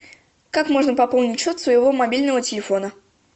как можно пополнить счет своего мобильного телефона